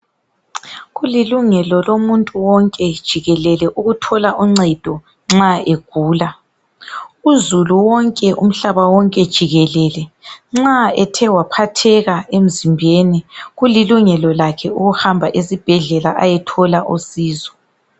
Kulilungelo lomuntu wonke jikelele ukuthola uncedo nxa egula. Uzulu wonke umhlaba wonke jikelele nxa ethe waphatheka emzimbeni kulilungelo lakhe ukuhamba esibhedlela ayothola usizo.